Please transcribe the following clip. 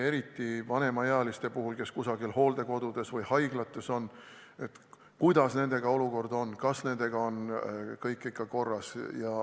Eriti vanemaealiste puhul, kes on kusagil hooldekodudes või haiglates – kardetakse, kuidas nendega olukord on ja kas kõik on ikka korras.